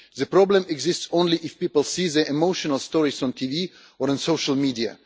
The problem exists only if people see the emotional stories on TV or in social media.